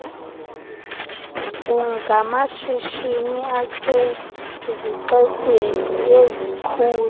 kungamashishini asezixekweni ezikhulu